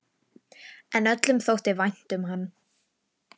En öllum þótti vænt um hann.